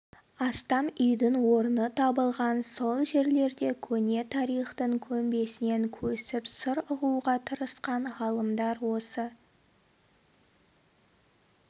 астам үйдің орны табылған сол жерлерде көне тарихтың көмбесінен көсіп сыр ұғуға тырысқан ғалымдар осы